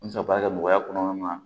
An bɛ se ka baara kɛ nɔgɔya kɔnɔna na